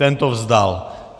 Ten to vzdal.